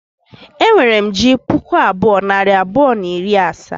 E nwere m ji puku abụọ, nari abụọ, na iri asaa